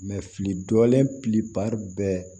fili dɔlen bɛɛ